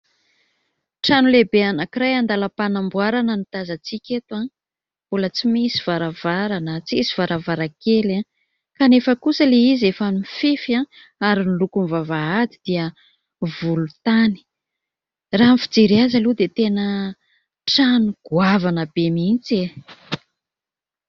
Trano lehibe anankiray andalam-panamboarana no tazantsika eto. Mbola tsy misy varavarana tsisy varavarankely kanefa kosa ilay izy efa nifefy ary ny lokony vavahady dia volontany. Raha ny fijery azy aloha dia tena trano goavana be mihitsy e !